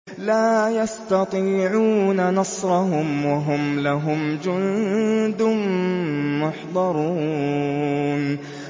لَا يَسْتَطِيعُونَ نَصْرَهُمْ وَهُمْ لَهُمْ جُندٌ مُّحْضَرُونَ